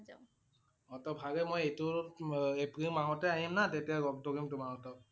অ তহ ভালে মই এইটো উম এপ্ৰিল মাহতে আহিম না তেতিয়া লগ ধৰিম তোমাৰ সতক।